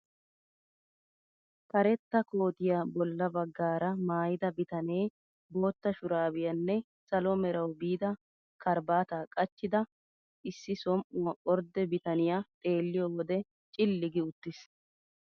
Karetta kootiyaa bolla baggaara maayida bitanee bootta shuraabiyaanne salo merawu biida karaabataa qachchida issi som"uwaara ordde bitaniyaa xeelliyoo wode cilli gi uttiis!